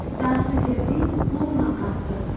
тасты жердей болма қатты